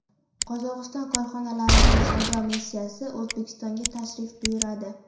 Qozog‘iston korxonalarining savdo missiyasi O‘zbekistonga tashrif buyuradi.